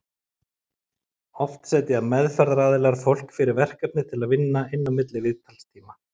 Oft setja meðferðaraðilar fólki fyrir verkefni til að vinna inn á milli viðtalstíma.